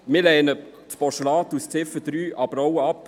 Wir lehnen Ziffer 3 des Postulat in Ziffer 3 aber auch ab.